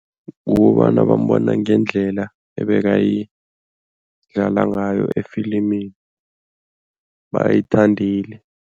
Kukobana bambona ngendlela ebekayidlala ngayo efilimini, bayithandile.